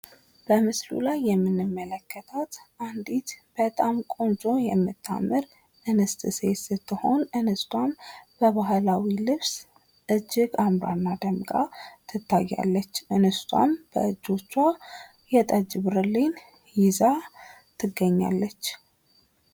በምስሉ ላይ የምንመለከታት አንድት ቆንጆ የምታምር እንስት ሴት ስትሆን እንስቷም በባህላዊ ልብስ እጅግ አምራና ደምቃ ትታያለች። እንስቷም በእጆቿ የጠጅ ብርሌን ይዛ ትገኛለች።